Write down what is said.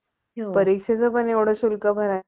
परीक्षेचं पण एवढं शुल्क भरायचं